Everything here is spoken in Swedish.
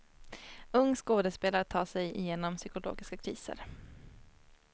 Ung skådespelare tar sig genom psykologiska kriser.